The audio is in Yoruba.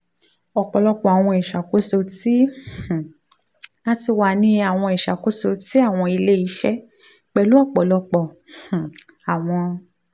ọpọlọpọ awọn iṣakoso ti um a ti wa ni awọn iṣakoso ti awọn ile-iṣẹ pẹlu ọpọlọpọ um awọn